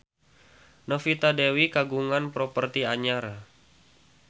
Novita Dewi kagungan properti anyar